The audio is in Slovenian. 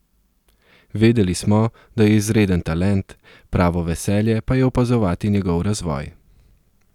Vedeli smo, da je izreden talent, pravo veselje pa je opazovati njegov razvoj.